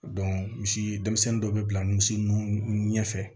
misi denmisɛnnu dɔ be bila misi nun ɲɛfɛ